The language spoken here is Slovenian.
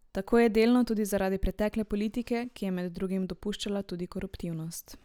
Tako je delno tudi zaradi pretekle politike, ki je med drugim dopuščala tudi koruptivnost.